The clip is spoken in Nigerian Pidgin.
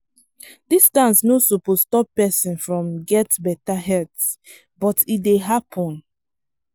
distance no suppose stop person from get better health but e dey happen.